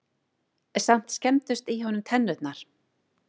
Samt skemmdust í honum tennurnar.